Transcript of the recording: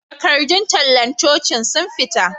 Takardun tallar cocin sun fita